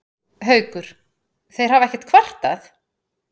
Haukur: Þeir hafa ekkert kvartað?